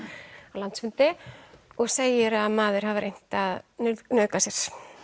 á landsfundi og segir að maður hafi reynt að nauðga sér